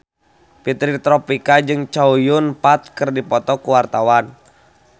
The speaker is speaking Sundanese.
Fitri Tropika jeung Chow Yun Fat keur dipoto ku wartawan